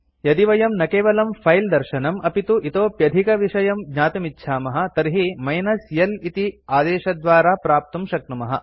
यदि वयं न केवलं फिले दर्शनम् अपि तु इतोप्यधिकविषयं ज्ञातुमिच्छामः तर्हि मिनस् l इति आदेशद्वारा प्राप्तुं शक्नुमः